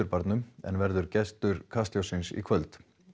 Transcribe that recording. Klausturbarnum en verður gestur Kastljóssins í kvöld